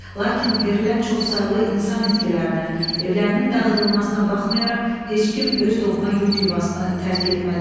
Lakin verilən çoxsaylı insan itkilərinə, evlərinin dağıdılmasına baxmayaraq heç kim öz doğma yurd yuvasını tərk etmədi.